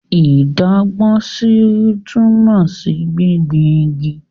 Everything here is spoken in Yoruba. Ìdágbósí túmọ̀ sí gbingbin igi.